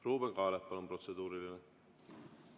Ruuben Kaalep, palun, protseduuriline!